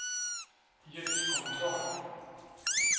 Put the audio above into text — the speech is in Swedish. ljuskontroll